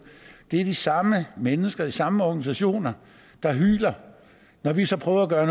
er det de samme mennesker de samme organisationer der hyler når vi så prøver at gøre